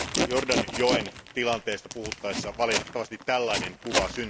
Jordanjoen tilanteesta puhuttaessa valitettavasti syntyi tällainen kuva.